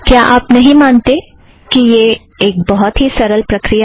क्या आप नहीं मानते कि यह एक बहुत ही सरल प्रक्रिया है